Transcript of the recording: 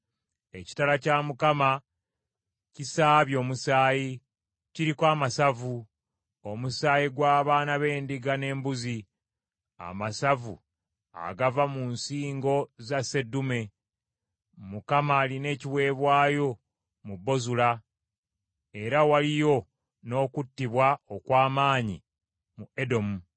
Ekitala kya Mukama kisaabye omusaayi, kiriko amasavu, omusaayi gw’abaana b’endiga n’embuzi, amasavu agava mu nsingo za sseddume. Mukama alina ekiweebwayo mu Bozula, era waliyo n’okuttibwa okw’amaanyi mu Edomu.